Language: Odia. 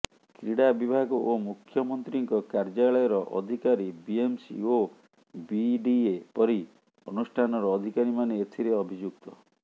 କ୍ରୀଡ଼ା ବିଭାଗ ଓ ମୁଖ୍ୟମନ୍ତ୍ରୀଙ୍କ କାର୍ଯ୍ୟାଳୟର ଅଧିକାରୀ ବିଏମ୍ସି ଓ ବିଡିଏ ପରି ଅନୁଷ୍ଠାନର ଅଧିକାରୀମାନେ ଏଥିରେ ଅଭିଯୁକ୍ତ